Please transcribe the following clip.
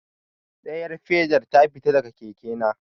Ɗayar fedar ta fita daga keke na.